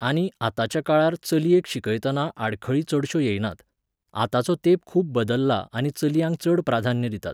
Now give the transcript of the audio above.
आनी आतांच्या काळार चलयेक शिकयतना आडखळी चडश्यो येयनात. आतांचो तेंप खूब बदल्ला आनी चलयांक चड प्राधान्य दितात